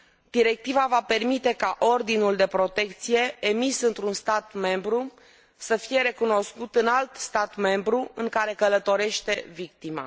Directiva va permite ca ordinul de protecție emis într un stat membru să fie recunoscut în alt stat membru în care călătorește victima.